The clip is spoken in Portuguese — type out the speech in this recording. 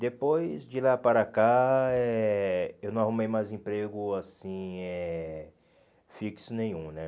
Depois de lá para cá, eh eu não arrumei mais emprego assim eh fixo nenhum né.